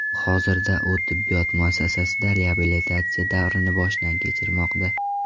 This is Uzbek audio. Hozirda u tibbiyot muassasasida reabilitatsiya davrini boshdan kechirmoqda.